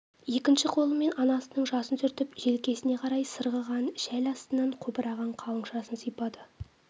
екінші қолымен анасының жасын сүртіп желкесіне қарай сырғыған шәл астынан қобыраған қалың шашын сипады